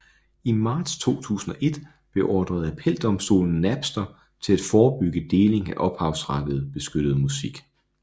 I marts 2001 beordrede appeldomstolen Napster til at forebygge deling af ophavsretsbeskyttet musik